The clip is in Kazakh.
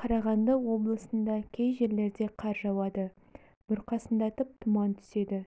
қарағанды облысында кей жерлерде қар жауады бұрқасындатып тұман түседі